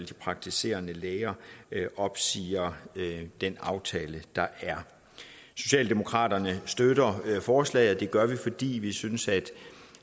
praktiserende læger opsiger den aftale der er socialdemokraterne støtter forslaget og det gør vi fordi vi synes